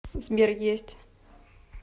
сбер есть